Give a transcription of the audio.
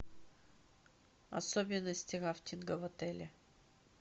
особенности рафтинга в отеле